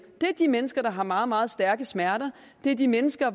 er de mennesker der har meget meget stærke smerter det er de mennesker